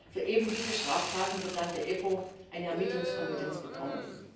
Für eben diese Straftaten wird dann die EPPO eine Ermittlungskompetenz bekommen.